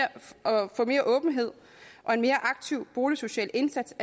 få mere åbenhed og en mere aktiv boligsocial indsats